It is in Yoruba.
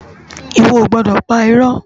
Iwò ó gbòdò pá irò